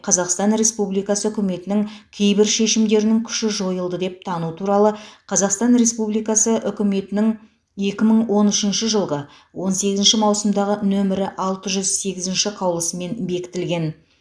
қазақстан республикасы үкіметінің кейбір шешімдерінің күші жойылды деп тану туралы қазақстан республикасы үкіметінің екі мың он үшінші жылғы он сегізінші маусымдағы нөмірі алты жүз сегізінші қаулысымен бекітілген